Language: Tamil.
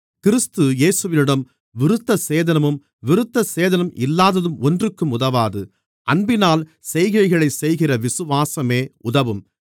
கிறிஸ்து இயேசுவிடம் விருத்தசேதனமும் விருத்தசேதனம் இல்லாததும் ஒன்றுக்கும் உதவாது அன்பினால் செய்கைகளைச் செய்கிற விசுவாசமே உதவும்